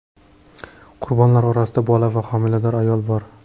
Qurbonlar orasida bola va homilador ayol bor.